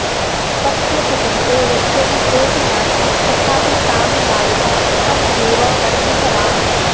स्वस्य कुटुम्बे यद्यपि कोऽपि नासीत् तथापि तां बालिकाम् सः एव वर्धितवान्